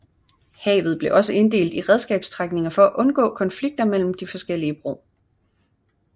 Havet blev også inddelt i redskabsstrækninger for at undgå konflikter mellem forskellige brug